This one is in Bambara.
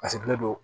A sigilen don